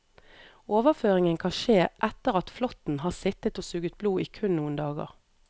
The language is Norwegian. Overføringen kan skje etter at flåtten har sittet og suget blod i kun noen dager.